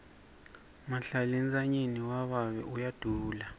mahlalentsanyeni wababe uyadula